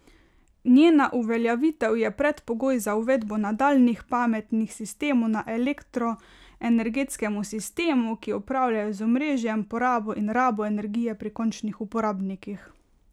Njena uveljavitev je predpogoj za uvedbo nadaljnjih pametnih sistemov na elektroenergetskem sistemu, ki upravljajo z omrežjem, porabo in rabo energije pri končnih uporabnikih.